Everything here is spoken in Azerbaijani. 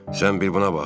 Sən bir buna bax.